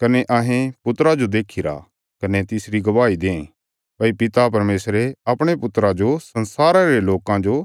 कने अहें पुत्रा जो देखीरा कने तिसरी गवाही दें भई पिता परमेशरे अपणे पुत्रा जो संसारा रे लोकां जो